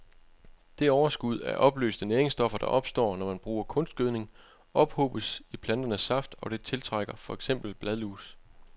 Det overskud af opløste næringsstoffer, der opstår, når man bruger kunstgødning, ophobes i planternes saft, og det tiltrækker for eksempel bladlus.